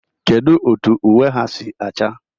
Kedu otu uwe ha si acha?